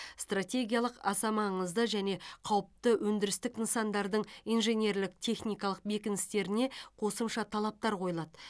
стратегиялық аса маңызды және қауіпті өндірістік нысандардың инженерлік техникалық бекіністеріне қосымша талаптар қойылады